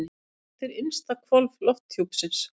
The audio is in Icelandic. Hvert er innsta hvolf lofthjúpsins?